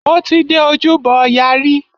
Mo ti dé Ojúbọ ọya rí.